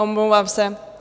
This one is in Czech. Omlouvám se.